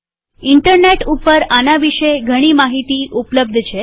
internet ઉપર આના વિષે ઘણી માહિતી ઉપલબ્ધ છે